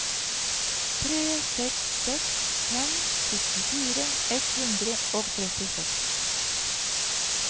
tre seks seks fem syttifire ett hundre og trettiseks